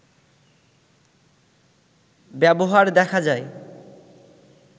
ব্যবহার দেখা যায়